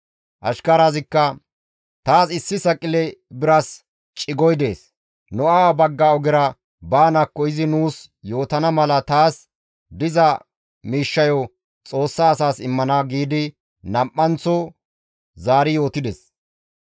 Ashkarazikka, «Taas issi saqile biras cigoy dees; nu awa bagga ogera baanaakko izi nuus yootana mala taas diza miishshayo Xoossa asaas immana» giidi nam7anththo zaari yootides.